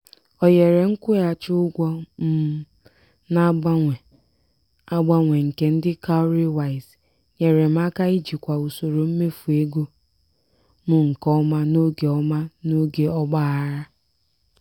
ohere nkwụghachi ụgwọ um na-agbanwe agbanwe nke ndị "cowrywise" nyere m aka ijikwa usoro mmefu ego m nke ọma n'oge ọma n'oge ọgbaghara.